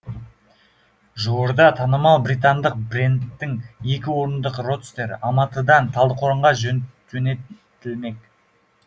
жуырда танымал британдық брендтің екі орындық родстері алматыдан талдықорғанға жөнелтілмек